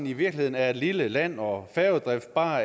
i virkeligheden er et lille land og færgedrift bare